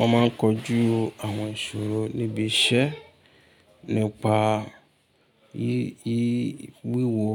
A máa ń kojú àwọn ìṣòro níbi iṣẹ́ nípa wíwo